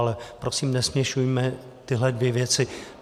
Ale prosím, nesměšujme tyhle dvě věci.